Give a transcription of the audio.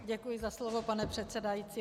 Děkuji za slovo, pane předsedající.